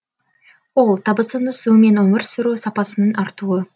ол табыстың өсуі мен өмір сүру сапасының артуы